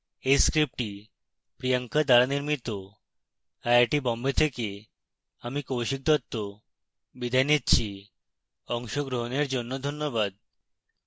এই script priyanka দ্বারা নির্মিত